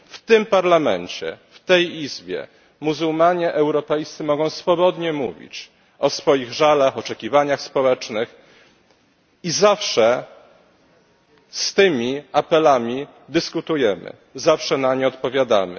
W tym Parlamencie, w tej Izbie, muzułmanie europejscy mogą swobodnie mówić o swoich żalach, oczekiwaniach społecznych i zawsze z tymi apelami dyskutujemy, zawsze na nie odpowiadamy.